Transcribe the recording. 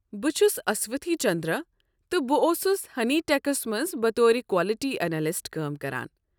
بہٕ چھُس اسوتھی چندرا تہٕ بہٕ اوسُس ہنی ٹیکَس منٛز بطور کوالٹی اینلِسٹ کٲم کران۔